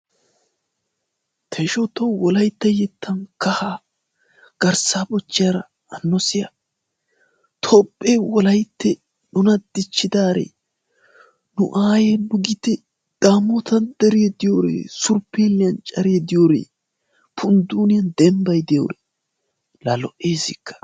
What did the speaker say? Ta ishawu tawu wolaytta yettan kaha garssaa bochchiyara hano siya Toophphee wolayttee nuna dichchidaare nu ayyee nu gitte dammottan deree diyoree surppeelliyan care diyoree pundduniyan dembbay diyoree la lo"eessikka!